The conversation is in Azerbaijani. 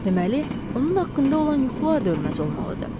Deməli, onun haqqında olan yuxular da ölməz olmalıdır.